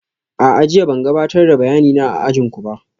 A'a, jiya ban gabatar da bayanina a ajin ku ba